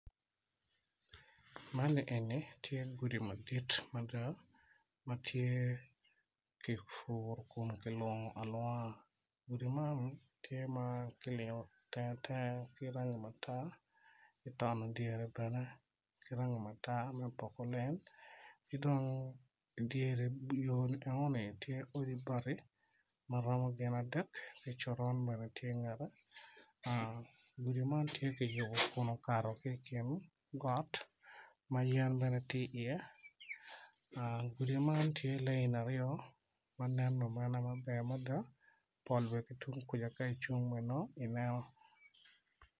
Co aryo co man gitye i yeya dok gin gitye ka mako rec gin gitye ka tic ki goli ma odone tye mabit kun giyuto ki rec piny i kabedo man tye ma ocidde dok tye otyeno mapol tye ka nen makwar kun tye dero pa deng madong tye kutyeno ma ceng opoto woko.